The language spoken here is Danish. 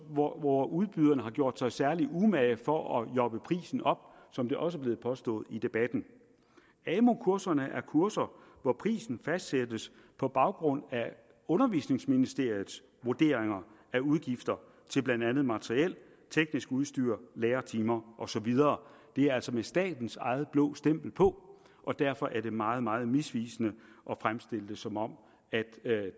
hvor hvor udbyderne har gjort sig særlig umage for at jobbe prisen op som det også er blevet påstået i debatten amu kurserne er kurser hvor prisen fastsættes på baggrund af undervisningsministeriets vurderinger af udgifter til blandt andet materiel teknisk udstyr lærertimer og så videre det er altså med statens eget blå stempel på og derfor er det meget meget misvisende at fremstille det som om